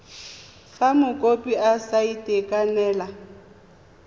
fa mokopi a sa itekanela